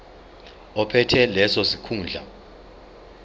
ophethe leso sikhundla